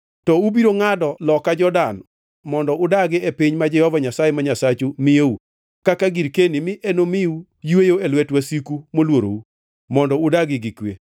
To ubiro ngʼado loka Jordan mondo udagi e piny ma Jehova Nyasaye ma Nyasachu miyou kaka girkeni mi enomiu yweyo e lwet wasiku moluorou, mondo udagi gi kwe.